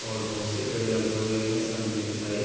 और बहुत से पेड़ लगे हुए है सामने की साइड ।